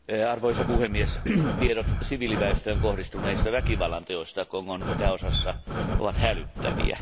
Arvoisa puhemies, tiedot siviiliväestöön kohdistuneista väkivallanteoista Kongon itäosassa ovat hälyttäviä.